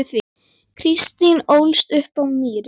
Kristín ólst upp á Mýri.